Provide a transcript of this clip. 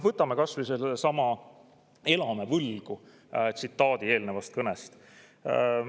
Võtame kas või sellesama "Elame võlgu" eelnevast kõnest.